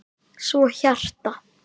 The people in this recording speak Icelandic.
Svo hjarta.